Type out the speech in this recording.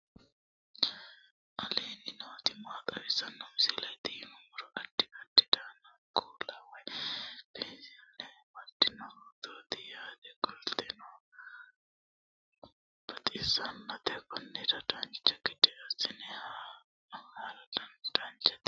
aleenni nooti maa xawisanno misileeti yinummoro addi addi dananna kuula woy biinsille amaddino footooti yaate qoltenno baxissannote konnira dancha gede assine haara danchate